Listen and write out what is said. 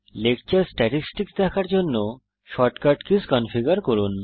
lecture statistics দেখার জন্য shortcut keys configure করুন